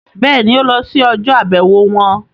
Bẹ́ẹ̀ni, ó lọ sí ọjọ́-àbẹ̀wò wọn?